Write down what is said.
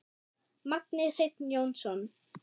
Magni Hreinn Jónsson